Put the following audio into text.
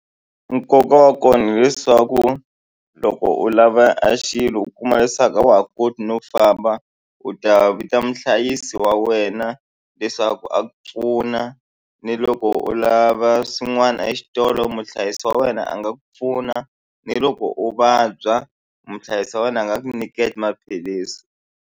Nkoka wa kona hileswaku loko u lava a xilo u kuma leswaku a wa ha koti no famba u ta vita muhlayisi wa wena leswaku a ku pfuna ni loko u lava swin'wana exitolo muhlayisi wa wena a nga ku pfuna ni loko u vabya muhlayisi wa wena a nga ku nyika e maphilisi.